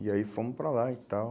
E aí fomos para lá e tal.